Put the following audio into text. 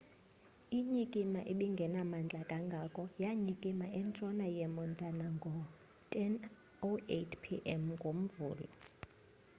inyikima ebingenamandla kangako yanyikima entshona yemontana ngo-10:08 p.m. ngomvulo